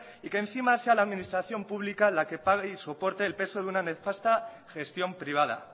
y que encima sea la administración pública la que pague y soporte el peso de una nefasta gestión privada